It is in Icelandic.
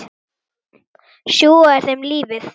Sjúga úr þeim lífið.